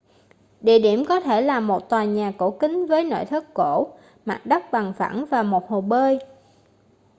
địa điểm có thể là một tòa nhà cổ kính với nội thất cổ mặt đất bằng phẳng và một hồ bơi